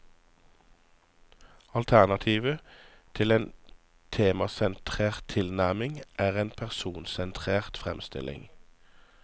Alternativet til en temasentrert tilnærming er en personsentrert fremstilling.